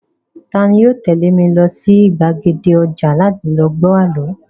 Tani yoo tẹ̀lé mi lọ sí gbàgede ọjà láti lọ gbọ́ àlọ́?